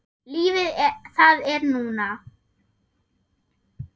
Lífið, það er núna.